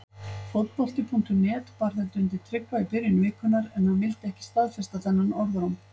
Fótbolti.net bar þetta undir Tryggva í byrjun vikunnar en hann vildi ekki staðfesta þennan orðróm.